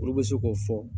Olu bɛ se k'o fɔ